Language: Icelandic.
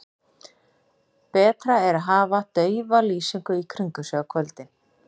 Betra er að hafa daufa lýsingu í kringum sig á kvöldin.